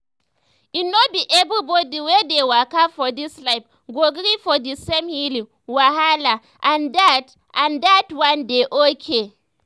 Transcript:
e no be everybody wey dey waka for this life go gree for the same healing wahala and dat and dat one dey okay.